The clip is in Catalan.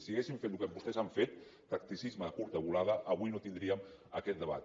si haguéssim fet el que vostès han fet tacticisme de curta volada avui no tindríem aquest debat